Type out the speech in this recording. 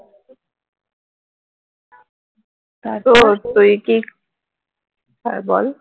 তুই কি হ্যাঁ বল